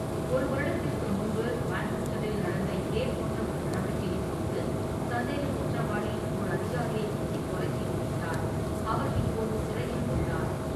ஒரு வருடத்திற்கு முன்பு மான்செஸ்டரில் நடந்த இதேபோன்ற ஒரு நடவடிக்கையின் போது சந்தேகக் குற்றவாளி ஓர் அதிகாரியை குத்திக் கொலை செய்துவிட்டார், அவர் இப்போது சிறையில் உள்ளார்.